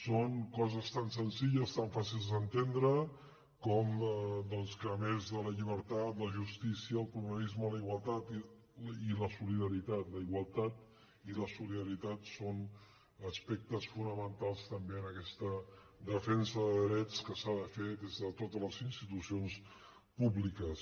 són coses tan senzilles tan fàcils d’entendre com que a més de la llibertat la justícia el pluralisme la igualtat i la solidaritat la igualtat i la solidaritat són aspectes fonamentals també en aquesta defensa de drets que s’ha de fer des de totes les institucions públiques